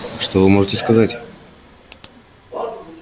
что вы можете сказать